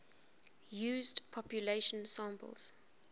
used population samples